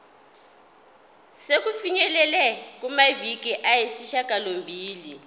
sokufinyelela kumaviki ayisishagalombili